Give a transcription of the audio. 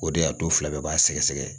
O de y'a to fila bɛɛ b'a sɛgɛsɛgɛ